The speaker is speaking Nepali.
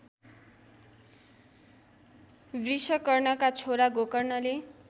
वृषकर्णका छोरा गोकर्णले